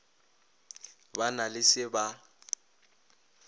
ba na le se ba